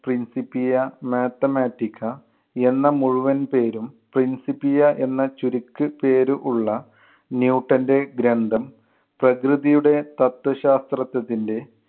principia mathematica എന്ന മുഴുവൻ പേരും principia എന്ന ചുരുക്ക് പേരു ഉള്ള ന്യൂട്ടന്‍റെ ഗ്രന്ഥം പ്രകൃതിയുടെ തത്വശാസ്ത്രത്തത്തിന്‍റെ